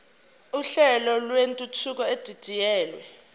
uhlelo lwentuthuko edidiyelwe